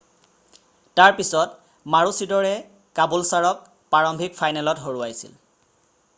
তাৰ পিছত মাৰোচিদৰে কাবুলছাৰক প্ৰাৰম্ভিক ফাইনেলত হৰুৱাইছিল